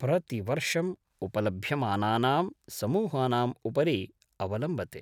प्रतिवर्षम् उपलभ्यमानानां समूहानाम् उपरि अवलम्बते।